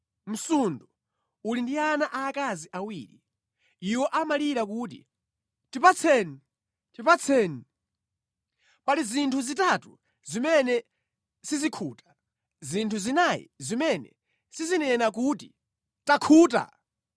“Msundu uli ndi ana aakazi awiri iwo amalira kuti, ‘Tipatseni! Tipatseni!’ ” “Pali zinthu zitatu zimene sizikhuta, zinthu zinayi zimene sizinena kuti, ‘Takhuta!’